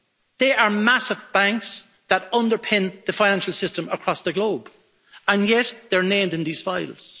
They are massive banks that underpin the financial system across the globe, and yet they're named in these files.